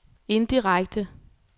indirekte